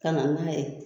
Ka na n'a ye